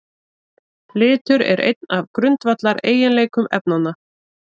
Litur er einn af grundvallareiginleikum efnanna.